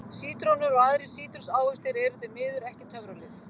Sítrónur og aðrir sítrusávextir eru því miður ekki töfralyf.